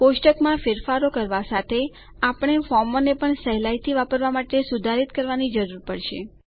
કોષ્ટક માં ફેરફારો કરવા સાથે આપણે ફોર્મોને પણ સહેલાઇથી વાપરવાં માટે સુધારિત કરવાની જરૂર પડશે